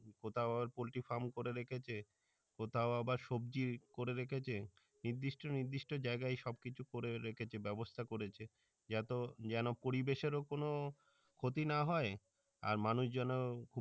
কোথাও আবার poultry firm করে রেখেছে কোথাও আবার সব্জি করে রেখেছে নির্দিষ্ট নির্দিষ্ট জাইগাই সব কিছু করে রেখেছে ব্যাবস্থা করেছে এত যেন পরিবেশের ও যেন কোনও ক্ষতি না হয় আর মানুষ যেন